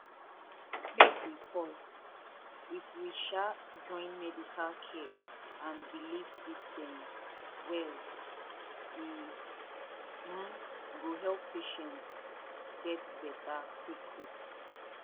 make we pause if we um join medical care and belief systems well e um go help patients get better quick quick